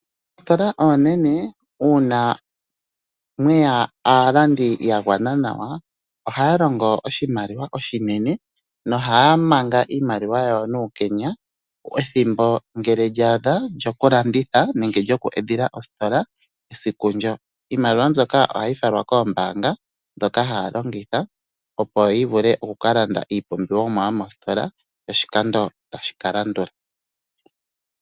Oositola onene una mweya aalandi ya gwana nawa oha longo oshimaliwa oshinene. No haa manga iimaliwa yawo nuukenya. Ethimbo ngele lya adha lyoku lyoku landitha nenge lyoku edhila ositola siku ndyo iimaliwa ohayi falwa koombanga. Dhoka haya longitha opo yi vule oku ka landa iipumbiwomwa yomositola oshikando tashi ka landula.